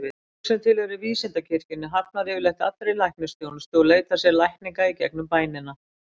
Fólk sem tilheyrir vísindakirkjunni hafnar yfirleitt allri læknisþjónustu og leitar sér lækninga gegnum bænina.